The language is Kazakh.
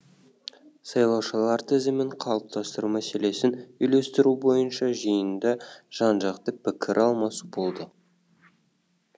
сайлаушылар тізімін қалыптастыру мәселесін үйлестіру бойынша жиында жан жақты пікір алмасу болды